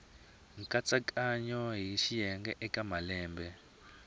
katsongo hi swiyenge eka malembe